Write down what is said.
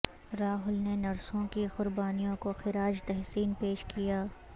راہل نے نرسوں کی قربانیوں کو خراج تحسین پیش کیا